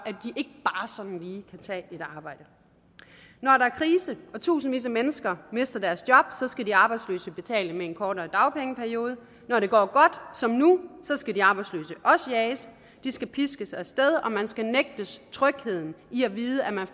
lige kan tage et arbejde når der er krise og tusindvis af mennesker mister deres job så skal de arbejdsløse betale med en kortere dagpengeperiode når det går godt som nu så skal de arbejdsløse også jages de skal piskes af sted og man skal nægtes trygheden i at vide at man